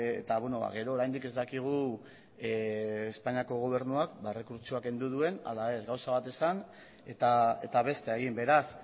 eta gero oraindik ez dakigu espainiako gobernuak errekurtsoa kendu duen ala ez gauza bat esan eta bestea egin beraz